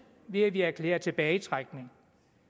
ved at vi erklærer en tilbagetrækning